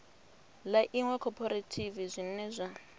ḽa iṅwe khophorethivi zwine zwa